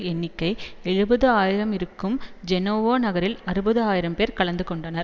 எண்ணிக்கை எழுபது ஆயிரம் இருக்கும் ஜேனோவா நகரில் அறுபது ஆயிரம் பேர் கலந்து கொண்டனர்